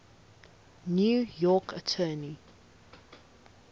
new york attorney